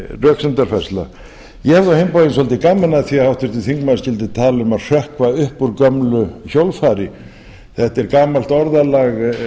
röksemdafærsla ég hafði á hinn bóginn svolítið gaman af því að háttvirtur þingmaður skyldi tala um að hrökkva upp úr gömlu hjólfari þetta er gamalt orðalag